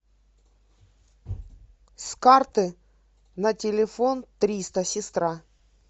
с карты на телефон триста сестра